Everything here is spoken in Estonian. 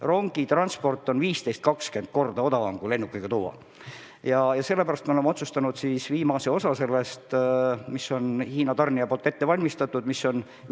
Rongitransport on 15–20 korda odavam ja sellepärast oleme otsustanud viimase osa sellest, mis on Hiina tarnijate poolt ette valmistatud, tuua kohale rongiga.